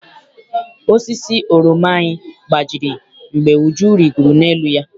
Osisi oroma anyị gbajiri mgbe Uju rigoro n'elu ya.